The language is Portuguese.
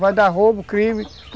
Vai dar roubo, crime.